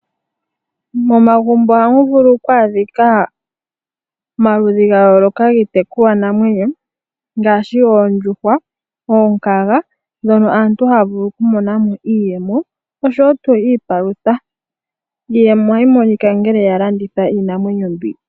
Momagumbo ohamu vulu oku adhika omaludhi gaayoloka giitekulwanamwenyo, ngaashi oondjuhwa, noshowo oonkanga, ndhono aantu haya vulu okumona mo iiyewo, noshowo tuu iipalutha. Iiyemo ohayi monika ngele ya landitha iinamwenyo mbino.